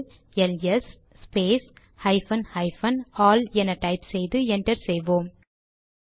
இப்போது L S space hyphen hyphen all என type செய்து என்டர் செய்வோம்